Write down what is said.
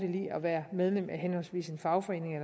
i at være medlem af henholdsvis en fagforening